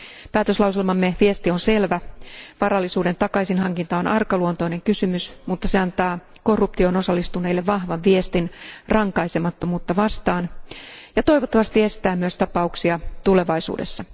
Päätöslauselmamme viesti on selvä. Varallisuuden takaisinhankinta on arkaluontoinen kysymys, mutta se antaa korruptioon osallistuneille vahvan viestin rankaisemattomuutta vastaan ja toivottavasti myös estää tapauksia tulevaisuudessa.